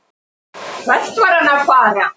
Hvert var hann að fara?